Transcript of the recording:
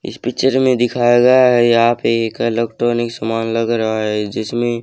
इस पिक्चर में दिखाया गया है यहां पे एक इलेक्ट्रॉनिक सामान लग रहा है जिसमें--